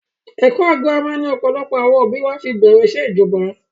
Ẹkọ girama ni ọ̀pọ̀lọpọ̀ àwọn òbí wa fi bẹ̀rẹ̀ ìṣẹ́ ìjọba